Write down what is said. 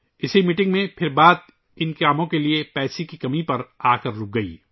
اسی میٹنگ میں بات چیت کاموں کے لئے پیسوں کی کمی پر آکر اٹک گئی